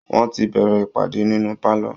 Wọ́n ti bẹ̀rẹ̀ ìpàdé nínú pálọ